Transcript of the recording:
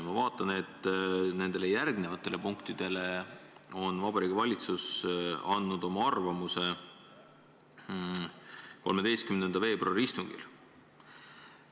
Ma vaatan, et nende järgnevate punktide kohta andis Vabariigi Valitsus oma arvamuse 13. veebruari istungil.